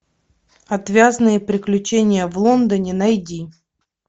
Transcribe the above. отвязные приключения в лондоне найди